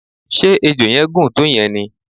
ṣe ejò yẹn gùn tó yen ni?